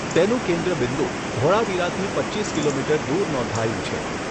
તેનું કેન્દ્રબિંદુ ધોળાવીરાથી પચ્ચીસ કિલોમીટર દૂર નોંધાયું છે.